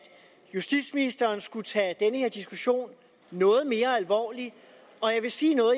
justitsministeren skulle tage den her diskussion noget mere alvorligt og jeg vil sige noget